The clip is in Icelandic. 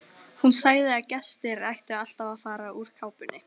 Hún sagði að gestir ættu alltaf að fara úr kápunni.